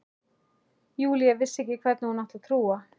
Júlía vissi ekki hverju hún átti að trúa.